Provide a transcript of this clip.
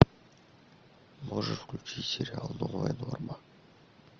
можешь включить сериал новая норма